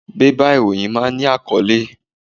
Bébà ìròyìn máa ń ní àkọ́lé.